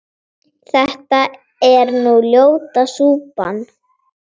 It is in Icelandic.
þetta er nú ljóta súpan